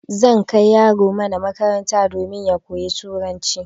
Zan kai yaro mana makaranta don ya koyi turanci